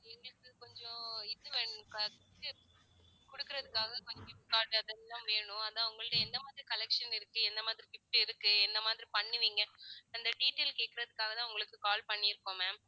எங்களுக்கு கொஞ்சம் இது வேணும் குடுக்கறதுக்காக கொஞ்சம் அதெல்லாம் வேணும் அதா உங்கள்ட்ட எந்த மாதிரி collection இருக்கு எந்த மாதிரி gift இருக்கு என்ன மாதிரி பண்ணுவீங்க அந்த detail கேக்குறதுக்காகதான் உங்களுக்கு call பண்ணி இருக்கோம் ma'am